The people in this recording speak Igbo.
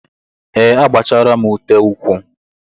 Ee, agbachaala m ute ụkwụ.